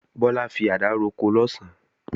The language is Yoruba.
Bọ́lá fi àdá roko lọ̀sán